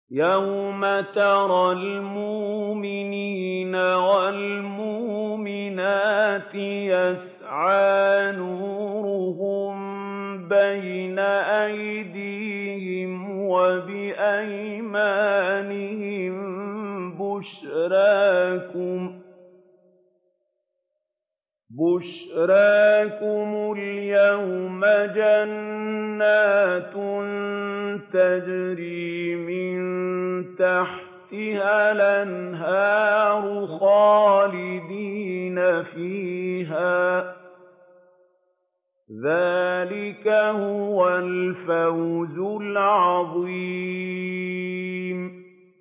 يَوْمَ تَرَى الْمُؤْمِنِينَ وَالْمُؤْمِنَاتِ يَسْعَىٰ نُورُهُم بَيْنَ أَيْدِيهِمْ وَبِأَيْمَانِهِم بُشْرَاكُمُ الْيَوْمَ جَنَّاتٌ تَجْرِي مِن تَحْتِهَا الْأَنْهَارُ خَالِدِينَ فِيهَا ۚ ذَٰلِكَ هُوَ الْفَوْزُ الْعَظِيمُ